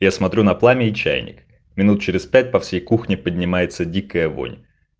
я смотрю на пламени чайник минут через пять по всей кухне поднимается дикая вонь